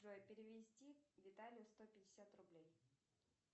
джой перевести виталию сто пятьдесят рублей